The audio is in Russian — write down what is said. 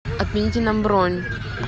отмените нам бронь